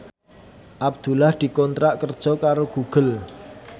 Abdullah dikontrak kerja karo Google